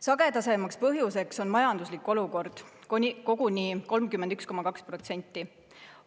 Sagedasemaks põhjuseks on majanduslik olukord, koguni 31,2%-l juhtudest.